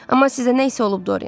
Amma sizə nə isə olub Dorian.